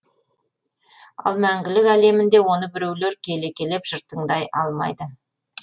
ал мәңгілік әлемінде оны біреулер келекелеп жыртаңдай алмайды